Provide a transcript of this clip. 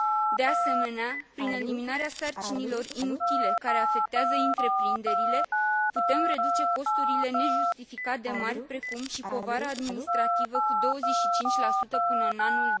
De asemenea, prin eliminarea sarcinilor inutile care afectează întreprinderile, putem reduce costurile nejustificat de mari, precum și povara administrativă, cu 25 până în anul